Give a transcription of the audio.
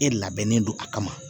E labɛnnen don a kama